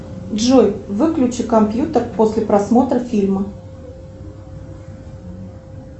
джой выключи компьютер после просмотра фильма